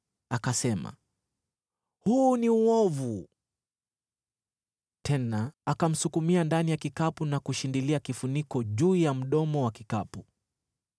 Akasema, “Huu ni uovu,” tena akamsukumia ndani ya kikapu na kushindilia kifuniko juu ya mdomo wa kikapu.